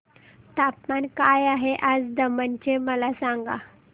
तापमान काय आहे आज दमण चे मला सांगा